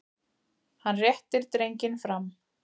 Hann réttir drenginn fram.